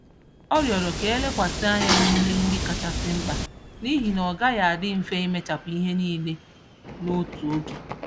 Ọ rioro ka elekwasị ányá n'ihe ndị kachasị mkpa, n'ihi na ọ gaghị adị mfe imechapụ ihe nílé n'otu oge